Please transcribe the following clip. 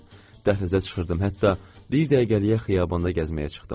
Dəhlizə çıxırdım, hətta bir dəqiqəliyə xiyabanda gəzməyə çıxdım.